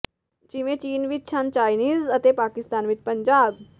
ਜਿਵੇਂ ਚੀਨ ਵਿਚ ਹਾਨ ਚਾਈਨੀਜ਼ ਅਤੇ ਪਾਕਿਸਤਾਨ ਵਿਚ ਪੰਜਾਬ